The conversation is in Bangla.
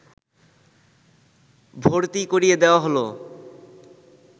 ভর্তি করিয়ে দেওয়া হল